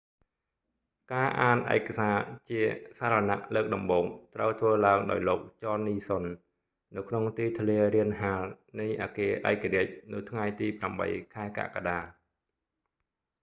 ការអានឯកសារជាសារណៈលើកដំបូង ត្រូវធ្វើឡើងដោយលោក ចន នីសុន john nixon នៅក្នុងទីធ្លារានហាលនៃអគារឯករាជ្យ នៅថ្ងៃទី8 ខែកក្កដា